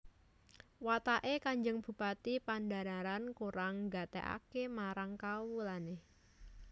Wataké Kanjeng Bupati Pandhanaran kurang nggatékaké marang kawulané